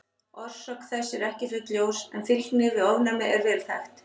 Orsök þess er ekki fullljós en fylgni við ofnæmi er vel þekkt.